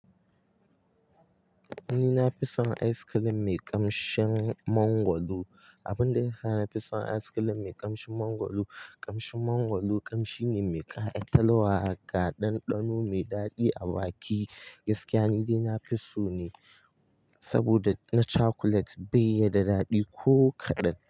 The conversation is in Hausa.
Ni na fi son ice cream mai ƙamshin mangwaro. Abun da ya sa na fi son ice cream mai ƙamshin mangwaro, ƙamshin mangwaro ƙamshi ne mai ka'a italuwa ga ɗanɗano mai daɗi a baki. Gaskiya, ni dai na fi so ne saboda na cakulet bai yi da daɗi ko kaɗan.